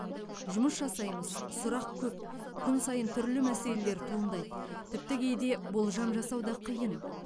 жұмыс жасаймыз сұрақ көп күн сайын түрлі мәселелер туындайды тіпті кейде болжам жасау да қиын